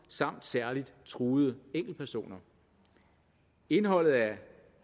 samt særligt truede enkeltpersoner indholdet af